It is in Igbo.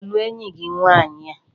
Ị ga-alụ enyi gị nwaanyị a?